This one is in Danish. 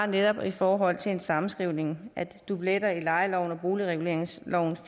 netop i forhold til en sammenskrivning af dubletter i lejeloven og boligreguleringsloven så